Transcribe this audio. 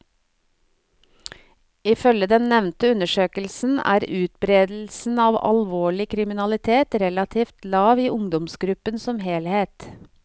Ifølge den nevnte undersøkelsen er utbredelsen av alvorlig kriminalitet relativt lav i ungdomsgruppen som helhet.